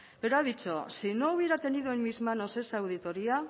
pero ha dicho si no hubiera tenido en mis manos esa auditoría